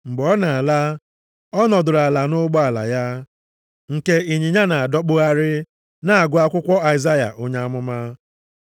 Mgbe ọ na-ala, ọ nọdụrụ ala nʼụgbọala ya, nke ịnyịnya na-adọkpụgharị, na-agụ akwụkwọ Aịzaya onye amụma.